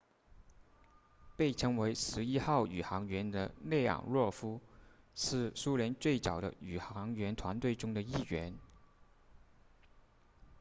被称为11号宇航员的列昂诺夫是苏联最早的宇航员团队中的一员